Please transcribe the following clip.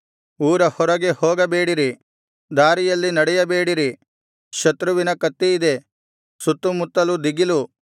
ಊರ ಹೊರಗೆ ಹೋಗಬೇಡಿರಿ ದಾರಿಯಲ್ಲಿ ನಡೆಯಬೇಡಿರಿ ಶತ್ರುವಿನ ಕತ್ತಿಯಿದೆ ಸುತ್ತುಮುತ್ತಲು ದಿಗಿಲು